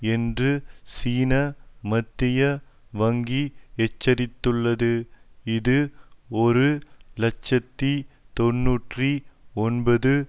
என்று சீன மத்திய வங்கி எச்சரித்துள்ளது இது ஒரு இலட்சத்தி தொன்னூற்றி ஒன்பது